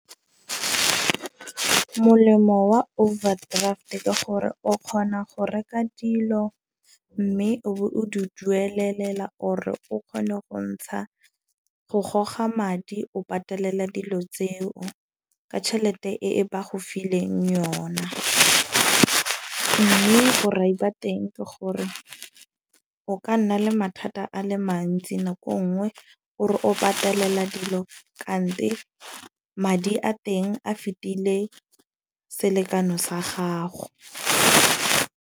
Molemo wa overdraft ke gore o kgona go reka dilo. Mme o bo o di duelela or e o kgone go ntsha go goga madi o patelela dilo tseo. Ka tšhelete e ba go fileng yona. Mme ba teng ke gore o ka nna le mathata a le mantsi nako e nngwe o re o patelela dilo kante madi a teng a fetile selekano sa gago.